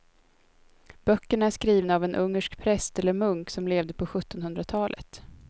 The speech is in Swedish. Böckerna är skrivna av en ungersk präst eller munk som levde på sjuttonhundratalet.